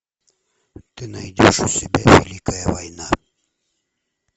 ты найдешь у себя великая война